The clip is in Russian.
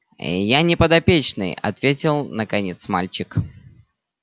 ээ я не подопечный ответил наконец мальчик